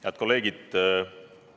Head kolleegid!